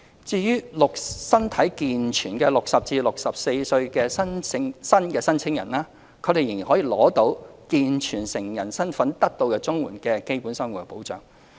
至於身體健全的60至64歲新申請人，他們仍會以健全成人的身份得到綜援的"基本生活保障"。